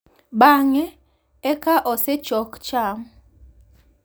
Bang’ e ka osechok cham,